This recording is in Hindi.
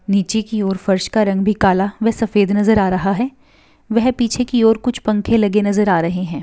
नीचे की और फर्श का रंग भी काला व सफ़ेद नजर आ रहा है वह पीछे की और कुछ पंखे लगे नजर आ रहे है।